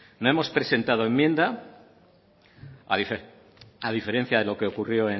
hemos presentado enmienda a diferencia de lo que ocurrió